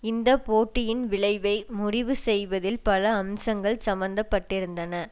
இந்த போட்டியின் விளைவை முடிவு செய்வதில் பல அம்சங்கள் சம்மந்தப்பட்டிருந்தன